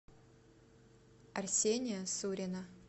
арсения сурина